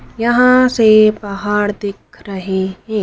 यहां से पहाड़ दिख रहे हैं।